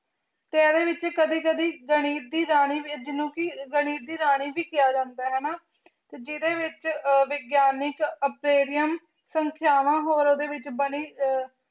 ਤੇ ਏਡੇ ਵਿਚ ਕਦੀ ਕਦੀ ਗਣਿਤ ਦੀ ਰਾਨੀ ਜਿਨੋ ਕੇ ਗਣਿਤ ਦੀ ਰਾਨੀ ਵੀ ਕਹਯ ਜਾਂਦਾ ਆਯ ਤੇ ਜਿਡੇ ਵਿਚ ਵਿਗ੍ਯਨਿਕ ਸੰਖ੍ਯਾਵਾਂ ਹੋਰ ਓਡੀ ਵਿਚ ਬਾਨੀ